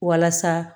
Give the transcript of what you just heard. Walasa